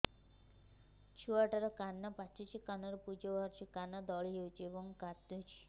ଛୁଆ ଟା ର କାନ ପାଚୁଛି କାନରୁ ପୂଜ ବାହାରୁଛି କାନ ଦଳି ହେଉଛି ଏବଂ କାନ୍ଦୁଚି